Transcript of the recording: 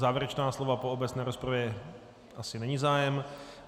Závěrečná slova po obecné rozpravě asi není zájem.